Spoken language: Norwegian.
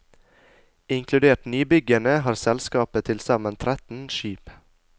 Inkludert nybyggene har selskapet tilsammen tretten skip.